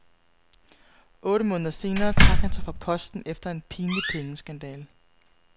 Otte måneder senere trak han sig fra posten efter en pinlig pengeskandale.